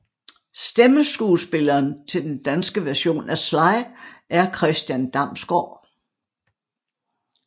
Stemmeskuespilleren til den danske version af Sly er Christian Damsgaard